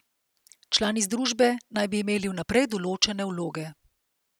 Člani združbe naj bi imeli vnaprej določene vloge.